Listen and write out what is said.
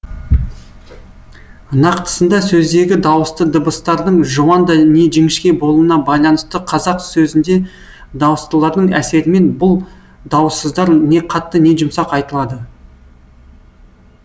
нақтысында сөздегі дауысты дыбыстардың жуан не жіңішке болуына байланысты қазақ сөзінде дауыстылардың әсерімен бұл дауыссыздар не қатты не жұмсақ айтылады